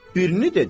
Birini dedim.